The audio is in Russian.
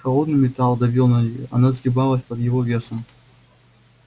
холодный металл давил на нее она сгибалась под его весом